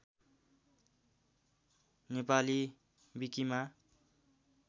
नेपाली विकिमा